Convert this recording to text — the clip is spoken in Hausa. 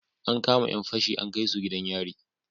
An kama Yan fashi an kaisu gidan yari